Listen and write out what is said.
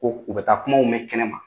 Ko u bɛ taa kuma mɛn kɛnɛ ma